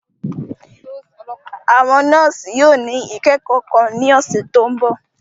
Àwọn nọọsi yóò ni ikẹkọ kan ni ọsẹ to nbọ.